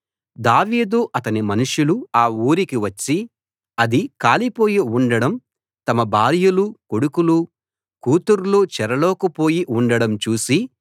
దావీదు అతని మనుషులు అ ఊరికి వచ్చి అది కాలిపోయి ఉండడం తమ భార్యలూ కొడుకులూ కూతుర్లూ చెరలోకి పోయి ఉండడం చూసి